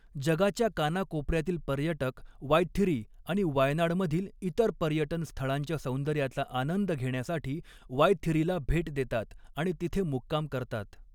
जगाच्या कानाकोपऱ्यातील पर्यटक 'वायथिरी' आणि 'वायनाड'मधील इतर पर्यटन स्थळांच्या सौंदर्याचा आनंद घेण्यासाठी 'वायथिरी'ला भेट देतात आणि तिथे मुक्काम करतात.